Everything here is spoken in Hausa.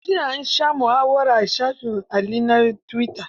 Jiya an sha muhawara a shafin Ali na tuwita.